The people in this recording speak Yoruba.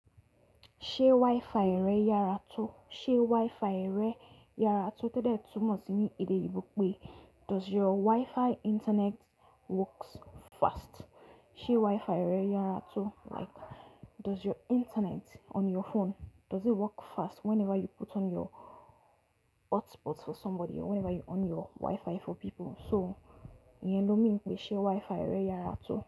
Ṣé Wi-Fi rẹ yára tó? Ṣé Wi-Fi rẹ yára tó todẹ̀ túmọ̀ sí ní èdè oyibò pé does your Wi-Fi internet works fast? Ṣé Wi-Fi rẹ yára tó? Like does your internet on your phone, does it work fast whenever you put on your hotspot for somebody or whenever you on your Wi-Fi for people? So iyen lọ́ meań pè ṣe Wi-Fi rẹ yára tó.